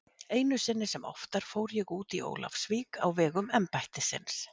Einu sinni sem oftar fór ég út í Ólafsvík á vegum embættisins.